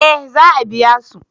eh za a biya su